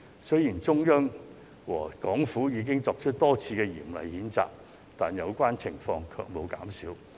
雖然中央和港府已多次作出嚴厲譴責，但有關情況卻沒有減少。